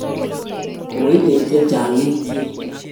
Koib beekk chechang etiet